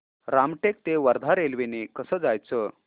रामटेक ते वर्धा रेल्वे ने कसं जायचं